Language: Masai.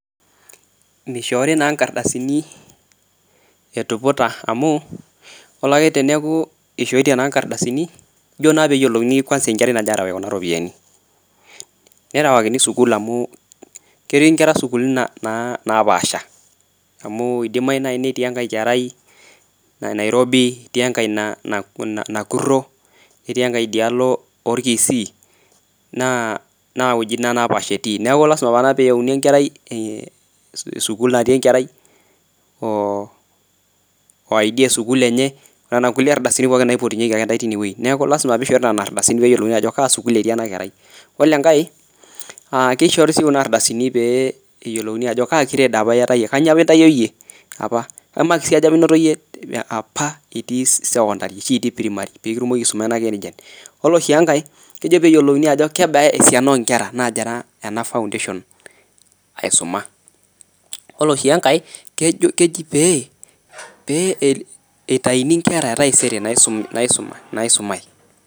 Meishoori naa inkardasini etuputa amuu ore ake teneaku eishotie naa inkardasini ijo naa peyiolouni kwansa enkerai nagirai aarawaki kuna iropiyiani. Nerawakini sukuul amu ketii inkera sukuulini napaasha amu eidimai nai netii enkae kerai Nairobi, netii enkae Nakuro, netii enkae dialo orkisii, naa weji inia napaasha etii. Naaku lasima peeyauni enkerai esukuul natii enkerai oo ID esukuul enye, nena kulie ardasini pookin naipotunyeki ake ntae teineweji, naaku lasima peishoruni nena ardasini peyiolouni ajo kaa sukuul etii ena kerai. Ore enkae naa keishpori sii kuna ardasini pee eyiolouni ajo ka nkreed apa ieat iye, kanyioo apa intaiyo iyie apa? Emaksi aja apa inoto iyie apa itii sekondari, ashu itii primari pikitumoki aisuma naake ninche. Ore sii enkae, kejo peeyiolouni ajo keba esiana onkera naagira ena foundation aisuma. Ore sii enkae keji pee eitaini inkera etaisere naisuma ,naisumae.